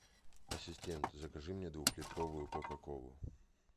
ассистент закажи мне двухлитровую кока колу